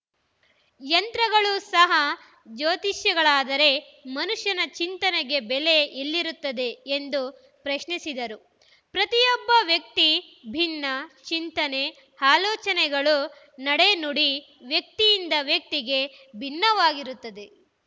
ಯಂತ್ರಗಳು ಸಹ ಜ್ಯೋತಿಷಿಗಳಾದರೆ ಮನುಷ್ಯನ ಚಿಂತನೆಗೆ ಬೆಲೆ ಎಲ್ಲಿರುತ್ತದೆ ಎಂದು ಪ್ರಶ್ನಿಸಿದರು ಪ್ರತಿಯೊಬ್ಬ ವ್ಯಕ್ತಿ ಭಿನ್ನ ಚಿಂತನೆ ಆಲೋಚನೆಗಳು ನಡೆ ನುಡಿ ವ್ಯಕ್ತಿಯಿಂದ ವ್ಯಕ್ತಿಗೆ ಭಿನ್ನವಾಗಿರುತ್ತದೆ